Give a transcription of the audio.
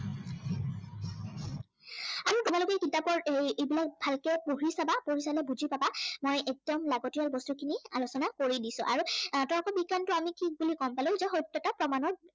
গোটেই কিতাপৰ এৰ এই বিলাক ভালকে পঢ়ি চাবা, পঢ়ি চালে বুজি পাবা, মই একদম লাগতিয়াল বস্তুখিনি আলোচনা কৰি দিছো। আৰু তৰ্ক বিজ্ঞানটো আমি কি বুলি কম য সত্য়তা প্ৰমাণৰ